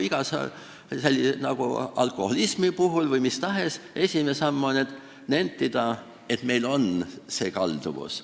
Nagu alkoholismi või mis tahes sõltuvuse puhul, esimene samm on nentida, et meil on see kalduvus.